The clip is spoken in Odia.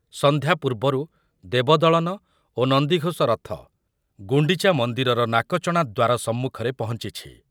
ସନ୍ଧ୍ୟା ପୂର୍ବରୁ ଦେବଦଳନ ଓ ନନ୍ଦିଗୋଷ ରଥ ଗୁଣ୍ଡିଚା ମନ୍ଦିରର ନାକଚଣା ଦ୍ୱାରା ସମ୍ମୁଖରେ ପହଞ୍ଚିଛି ।